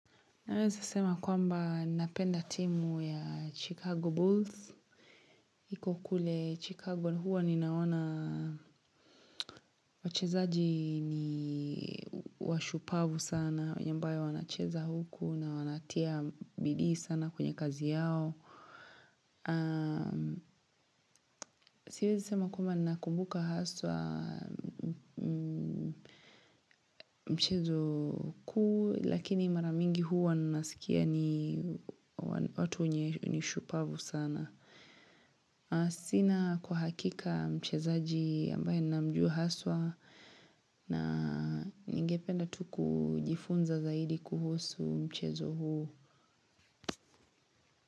Nawezi sema kwamba napenda timu ya Chicago Booth. Iko kule Chicago huwa ninaona wachezaji ni washupavu sana. Venye ambayo wanacheza huku na wanatia bidii sana kwenye kazi yao. Siwezi sema kwamba ninakumbuka haswa mchezo kuu. Lakini mara mingi huwa nanasikia ni watu wenye ni shupavu sana. Sina kwa hakika mchezaji ambaye namjua haswa na ningependa tu kujifunza zaidi kuhusu mchezo huu.